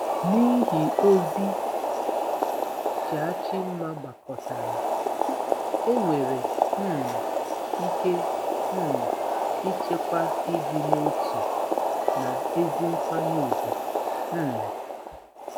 N'ihi ozi Jachimma gbakọtara, enwere um ike um ichekwa ịdị n'otu na ezi nkwanye ùgwù. um